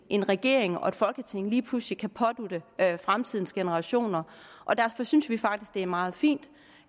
en regering og et folketing lige pludselig kan pådutte fremtidens generationer og derfor synes vi faktisk det er meget fint